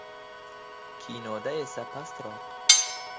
Kinoda esa pastroq”.